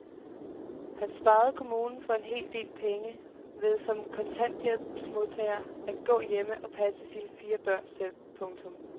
Han sparede kommunen for en hel del penge ved som kontanthjælpsmodtager at gå hjemme og passe sine fire børn selv. punktum